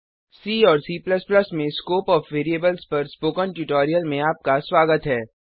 सी और C में scope of variables पर स्पोकन ट्यूटोरियल में आपका स्वागत है